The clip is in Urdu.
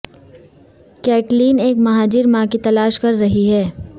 کیٹلین ایک مہاجر ماں کی تلاش کر رہی ہے